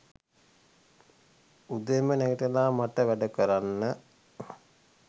උදෙන්ම නැගිටලා මට වැඩ කරන්න